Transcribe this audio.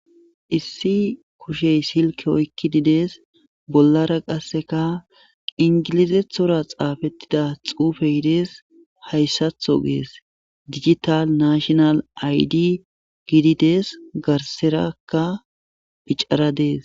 issi kushey silke oykki dides bollara qasseka ingilizethora xaafettida xuufe hidees hayssatho gees digital nashonal aydi giidides garserakka picara dees